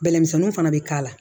Bɛlɛ misɛnninw fana bɛ k'a la